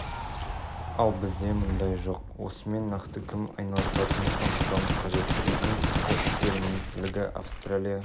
компанияның соңынан жүріп ел игілігіне қызмет етуге тартқаны жөн жүйелі жұмыс істейтін елдер осылай жасайды